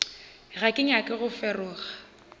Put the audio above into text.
ga ke nyake go feroga